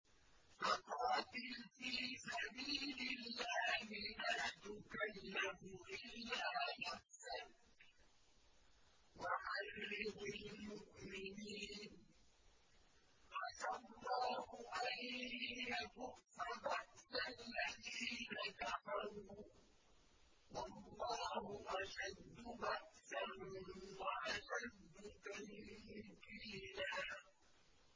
فَقَاتِلْ فِي سَبِيلِ اللَّهِ لَا تُكَلَّفُ إِلَّا نَفْسَكَ ۚ وَحَرِّضِ الْمُؤْمِنِينَ ۖ عَسَى اللَّهُ أَن يَكُفَّ بَأْسَ الَّذِينَ كَفَرُوا ۚ وَاللَّهُ أَشَدُّ بَأْسًا وَأَشَدُّ تَنكِيلًا